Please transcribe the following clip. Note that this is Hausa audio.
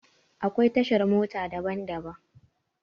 Akwai tashar mota daban daban.